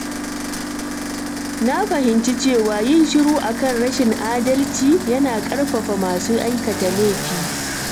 Na fahimci cewa yin shiru akan rashin adalci yana ƙarfafa masu aikata laifi.